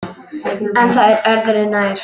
En það er öðru nær.